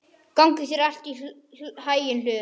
Gangi þér allt í haginn, Hlöður.